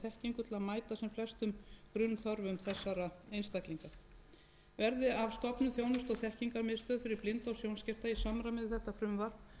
og þekkingu til að mæta sem flestum grunnþörfum þessara einstaklinga verði af stofnun þjónustu og þekkingarmiðstöðvar fyrir blinda og sjónskerta í samræmi við þetta frumvarp